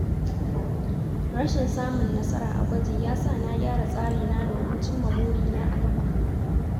Rashin samun nasara a gwaji ya sa na gyara tsarina domin cimma burina a gaba.